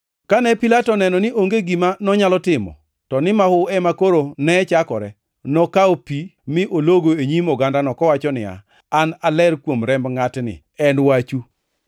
Kane Pilato oneno ni onge gima nonyalo timo, to ni mahu ema koro ne chakore, nokawo pi mi ologo e nyim ogandano, kowacho niya, “An aler kuom remb ngʼatni, en wachu!”